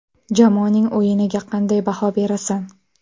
Jamoaning o‘yiniga qanday baho berasan?